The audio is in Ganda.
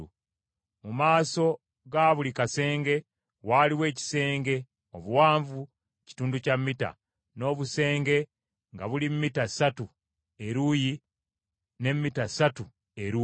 Mu maaso ga buli kasenge waaliwo ekisenge obuwanvu kitundu kya mita, n’obusenge nga buli mita ssatu eruuyi ne mita ssatu eruuyi.